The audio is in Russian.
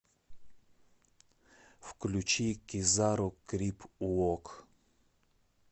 включи кизару крип уок